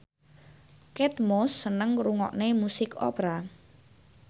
Kate Moss seneng ngrungokne musik opera